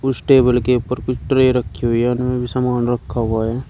इस टेबल के ऊपर कुछ ट्रे रखी हुई है उनमें भी सामान रखा हुआ है।